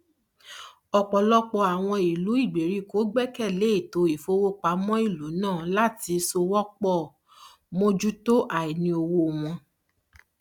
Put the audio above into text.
ọpọlọpọ àwọn ìlú ìgbèríko gbẹkẹlé ètò ìfówopámọ ìlú náà láti sowópọ mójútó àìní owó wọn